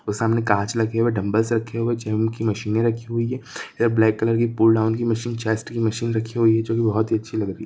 वो सामने कांच लगे हुए डंबल्स रखी हुए गिम के मशीने रखी हुई है इधर ब्लैक कलर की पुल्ल डाइन की मशीन गेस्ट की मशीन रखी हुई है जोकि बहोत ही अच्छी लग रही है।